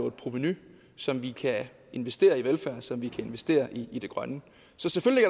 et provenu som vi kan investere i velfærd og som vi kan investere i det grønne så selvfølgelig